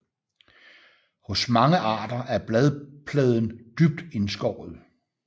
Hos mange arter er bladpladen dybt indskåret